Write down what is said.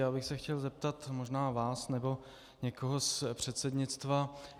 Já bych se chtěl zeptat možná vás nebo někoho z předsednictva.